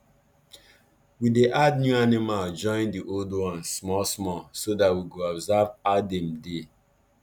we dey add the new animal join the old ones small small so that we go observe ow dem dey